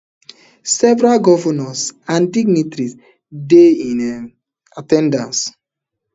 several govnors and dignitaries dey in um at ten dance